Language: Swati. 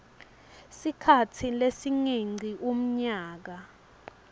sikhatsi lesingengci umnyaka